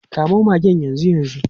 Kamo magen yanzu yanzu.